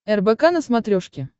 рбк на смотрешке